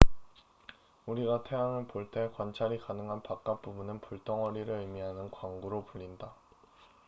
"우리가 태양을 볼 때 관찰이 가능한 바깥 부분은 "불덩어리""를 의미하는 광구로 불린다.